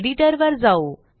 एडिटरवर जाऊ